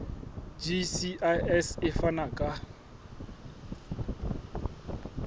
gcis e ka fana ka